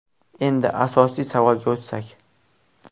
Endi asosiy savolga o‘tsak.